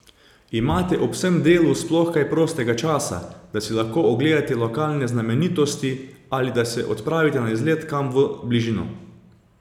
Imate ob vsem delu sploh kaj prostega časa, da si lahko ogledate lokalne znamenitosti ali da se odpravite na izlet kam v bližino?